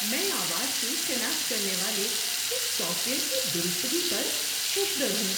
میں آواز کی شناخت کرنے والے اس سافٹ ویئر کی درستگی پر ششدر ہوں۔